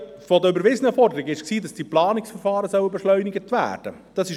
Eine der überwiesenen Forderungen lautete, dass die Planungsverfahren beschleunigt werden sollen.